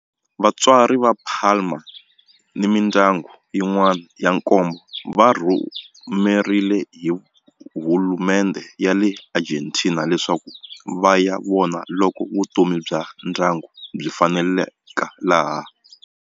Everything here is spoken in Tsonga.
Vatswari va Palma ni mindyangu yin'wana ya nkombo va rhumeriwe hi hulumendhe ya le Argentina leswaku va ya vona loko vutomi bya ndyangu byi faneleka laha.